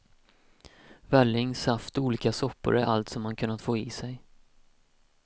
Välling, saft och olika soppor är allt som han kunnat få i sig.